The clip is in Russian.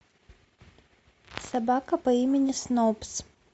собака по имени снобз